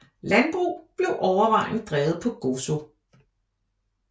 Landbrug bliver overvejende drevet på Gozo